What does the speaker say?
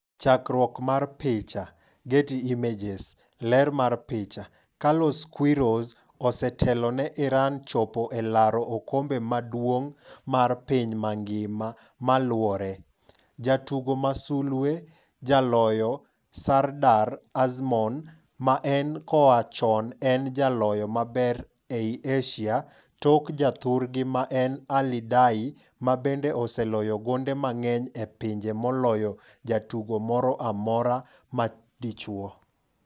Chakruok mar picha, Getty Images. Ler mar picha, Carlos Queiroz, osetelo ne Iran chopo e laro okombe maduong' mar piny mangima maluore. Jatugo ma sulwe: Jaloyo Sardar Azmoun ma en koa chon en jaloyo maber ei Asia tok ja thurgi ma en Ali Daei, mabende oseloyo gonde mang'eny e pinje moloyo jatugo moro amorama dichuo.